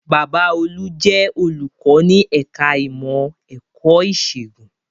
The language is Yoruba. Bàbá olú jẹ́ olùkọ́ ní ẹ̀ka ìmọ̀ ẹ̀kọ́ ìṣègùn